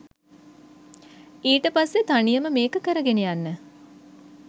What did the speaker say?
ඊට පස්සේ තනියම මේක කරගෙන යන්න